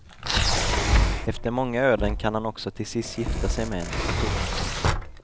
Efter många öden kan han också till sist gifta sig med henne. punkt